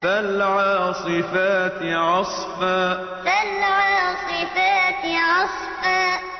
فَالْعَاصِفَاتِ عَصْفًا فَالْعَاصِفَاتِ عَصْفًا